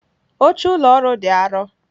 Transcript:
Oche ụlọ ọrụ dị arọ.